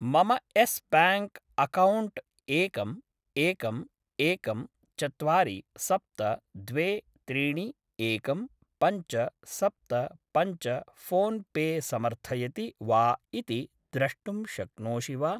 मम Yes bank account एकम् एकम् एकम् चत्वारि सप्त द्वे त्रीणि एकम् पञ्च सप्त पञ्च फोन् पे समर्थयति वा इति द्रष्टुं शक्नोषि वा